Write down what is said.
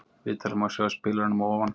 Viðtalið má sjá í spilaranum að ofan.